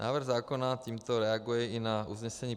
Návrh zákona tímto reaguje i na usnesení